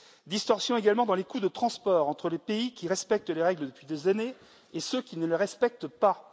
Distorsions également dans les coûts de transport, entre les pays qui respectent les règles depuis des années et ceux qui ne le respectent pas.